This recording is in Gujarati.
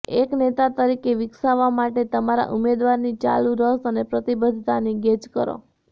એક નેતા તરીકે વિકસાવવા માટે તમારા ઉમેદવારની ચાલુ રસ અને પ્રતિબદ્ધતાની ગેજ કરો